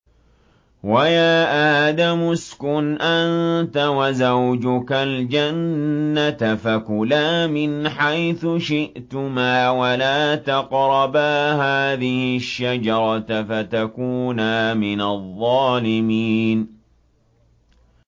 وَيَا آدَمُ اسْكُنْ أَنتَ وَزَوْجُكَ الْجَنَّةَ فَكُلَا مِنْ حَيْثُ شِئْتُمَا وَلَا تَقْرَبَا هَٰذِهِ الشَّجَرَةَ فَتَكُونَا مِنَ الظَّالِمِينَ